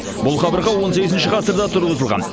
бұл қабырға он сегізінші ғасырда тұрғызылған